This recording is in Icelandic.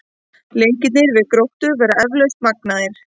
En leikirnir við Gróttu verða eflaust magnaðir.